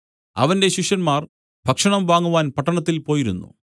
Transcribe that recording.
അവന്റെ ശിഷ്യന്മാർ ഭക്ഷണം വാങ്ങുവാൻ പട്ടണത്തിൽ പോയിരുന്നു